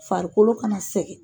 Farikolo kana sɛgɛn.